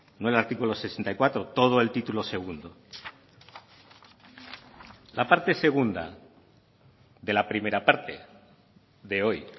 no el artículo sesenta y cuatro todo el título segundo la parte segunda de la primera parte de hoy